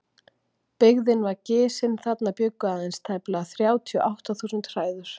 Byggðin var gisin, þarna bjuggu aðeins tæplega þrjátíu og átta þúsund hræður.